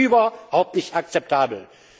Das ist überhaupt nicht akzeptabel.